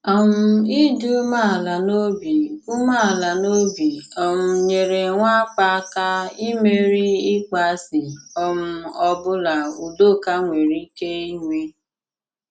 um Ị̀dị̀ umeala n'obi umeala n'obi um nyèrè nwàpà áká imèrí ịkpọasị um ọ bụla Udòkà nwèrè ike inwe.